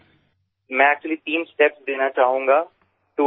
રિપુદમનઃ હું ખરેખર ત્રણ પગલાં આપવામાં માગીશ